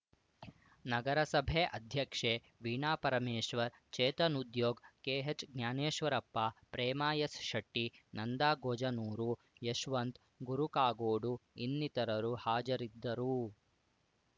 ನಗರಸಭೆ ಅಧ್ಯಕ್ಷೆ ವೀಣಾ ಪರಮೇಶ್ವರ್‌ ಚೇತನ್‌ ಉದ್ಯೋಗ್‌ ಕೆಹೆಚ್‌ಜ್ಞಾನೇಶ್ವರಪ್ಪ ಪ್ರೇಮಾ ಎಸ್‌ ಶೆಟ್ಟಿ ನಂದಾ ಗೊಜನೂರು ಯಶವಂತ್‌ ಗುರು ಕಾಗೋಡು ಇನ್ನಿತರರು ಹಾಜರಿದ್ದರು